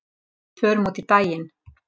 Við förum út í daginn.